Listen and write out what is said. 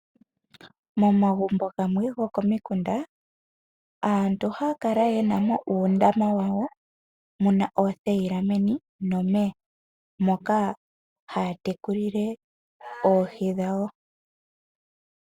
Momagumbo gamwe gokomikunda. Aantu ohaya kala yena uundama wa wo muna oothayila meni nomeya moka haya tekulile oohi dhawo.